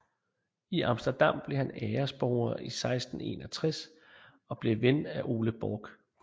I Amsterdam blev han æresborger i 1661 og blev ven af Ole Borch